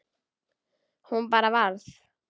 Hún bara varð.